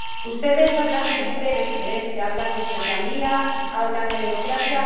Ustedes hablan siempre de injerencia, hablan de soberanía, hablan de democracia...